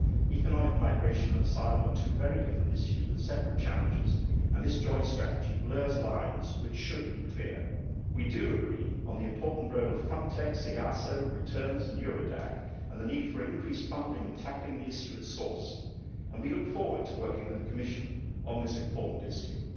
Economic migration and asylum are two very different issues, with separate challenges, and this joint strategy blurs lines which should be clear. We do agree on the important role of Frontex, EASO, returns and Eurodac, and the need for increased funding in tackling the issue at source, and we look forward to working with the Commission on this important issue.